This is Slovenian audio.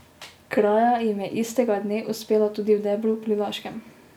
Kraja jim je istega dne uspela tudi v Debru pri Laškem.